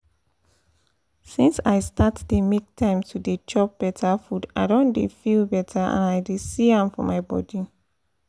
since i start dey make time to dey chop better food i don dey feel better and i dey see am for my body